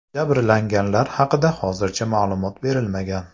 Jabrlanganlar haqida hozircha ma’lumot berilmagan.